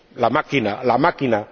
La máquina —¡la máquina!—